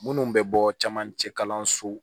Minnu bɛ bɔ camancɛ kalanso